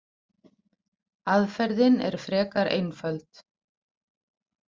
Aðferðin er frekar einföld.